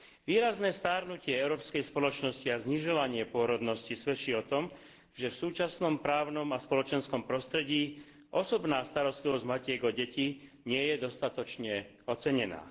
Výrazné starnutie európskej spoločnosti a znižovanie pôrodnosti svedčí o tom, že v súčasnom právnom a spoločenskom prostredí osobná starostlivosť matiek o deti nie je dostatočne ocenená.